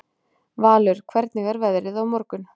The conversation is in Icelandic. Valur, hvernig er veðrið á morgun?